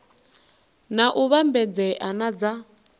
na u vhambedzea na dza